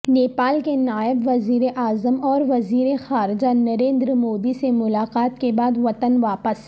نیپال کے نائب وزیر اعظم اور وزیر خارجہ نریندرمودی سے ملاقات کے بعد وطن واپس